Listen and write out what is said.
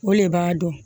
O le b'a dɔn